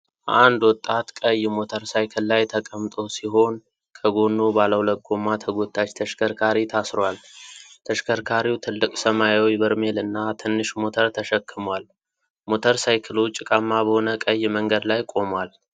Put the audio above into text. አንድ ወጣት ቀይ ሞተር ሳይክል ላይ ተቀምጦ ሲሆን ከጎኑ ባለ ሁለት ጎማ ተጎታች ተሽከርካሪ ታስሯል። ተሽከርካሪው ትልቅ ሰማያዊ በርሜል እና ትንሽ ሞተር ተሸክሟል። ሞተር ሳይክሉ ጭቃማ በሆነ ቀይ መንገድ ላይ ቆሟል።